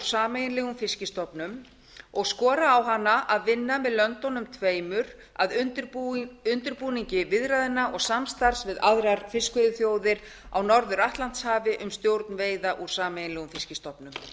sameiginlegum fiskstofnum og skora á hana að vinna með löndunum tveimur að undirbúningi viðræðna og samstarfs við aðrar fiskveiðiþjóðir á norður atlantshafi um stjórn veiða úr sameiginlegum fiskstofnum